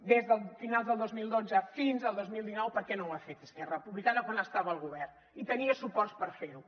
des de finals del dos mil dotze fins al dos mil dinou per què no ho ha fet esquerra republicana quan estava al govern i tenia suports per fer ho